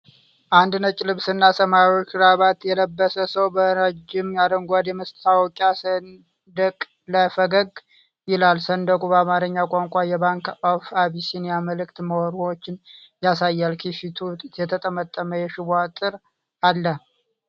አንድ ነጭ ልብስና ሰማያዊ ክራቫት የለበሰ ሰው በረጅም አረንጓዴ የማስታወቂያ ሰንደቅ ላይ ፈገግ ይላል። ሰንደቁ በአማርኛ ቋንቋ የባንክ ኦፍ አቢሲኒያ መልዕክትና መርሆችን ያሳያል። ከፊቱ የተጠመጠመ የሽቦ አጥር አለ።